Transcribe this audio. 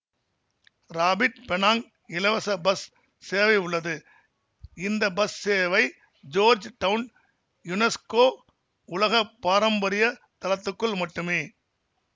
rapid Penang இலவச bus சேவை உள்ளது இந்த பஸ் சேவை ஜோர்ஜ் டவுன் யுனெஸ்கோ உலக பாரம்பரிய தளத்துக்குள் மட்டுமே